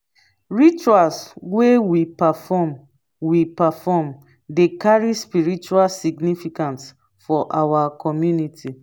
rituals wey we perform we perform dey carry spiritual significance for our community.